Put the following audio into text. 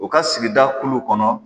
U ka sigida kulu kɔnɔ